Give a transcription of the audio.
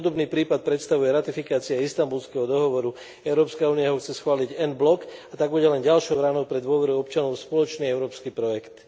Podobný prípad predstavuje ratifikácia Istanbulského dohovoru. Európska únia ho chce schváliť a tak bude len ďalšou ranou pre dôveru občanov v spoločný európsky projekt.